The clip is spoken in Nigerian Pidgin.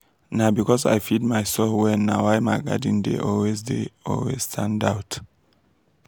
na because i feed my soil well na why my garden dey always dey always stand out.